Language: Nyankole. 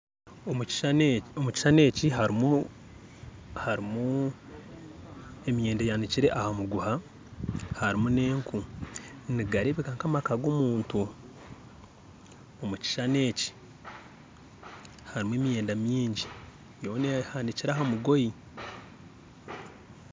Omukishushani eki harimu emyenda eyanikire aha muguha harimu nenku nigareebeka nk'amaka g'omuntu omukishushani eki harimu emyenda mingi yoona ehanikire aha mugoye